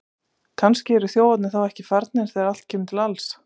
Kannski eru þjófarnir þá ekki farnir þegar allt kemur til alls!